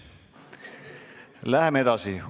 Läheme edasi.